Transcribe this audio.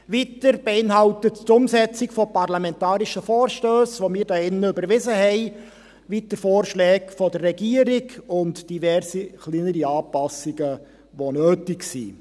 Weiter beinhaltet sie die Umsetzung parlamentarischer Vorstösse, die wir hier überwiesen haben, weiter Vorschläge der Regierung und diverse kleinere Anpassungen, die nötig sind.